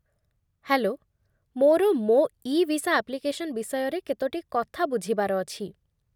Hello, ମୋର ମୋ' e visa application ବିଷୟରେ କେତୋଟି କଥା ବୁଝିବାର ଅଛି ।